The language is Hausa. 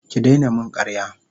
Ki daina min karya.